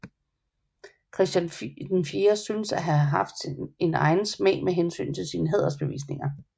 Christian VI synes at have haft en egen smag med hensyn til sine hædersbevisninger